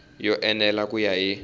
yo enela ku ya hi